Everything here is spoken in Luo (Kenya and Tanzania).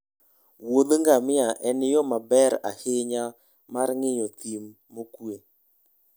muodh ngamia en yo maber ahinya mar ng'iyo thim mokwe.